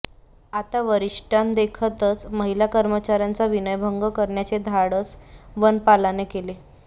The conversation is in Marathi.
आता वरिष्ठांदेखतच महिला कर्मचार्याचा विनयभंग करण्याचे धाडस वनपालाने केले